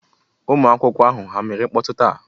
Ụmụ akwụkwọ ahụ, ha mere mkpọtụ taa?